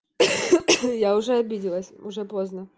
я уже обиделась уже поздна